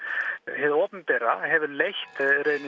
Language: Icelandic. hið opinbera hefur leitt